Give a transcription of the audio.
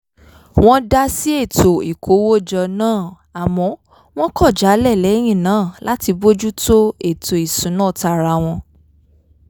wọ́n dá sí ètò ìkówójọ náà àmọ́ wọ́n kọ̀ jálẹ̀ lẹ́yìn náà láti bójú tó ètò ìsúná tara wọn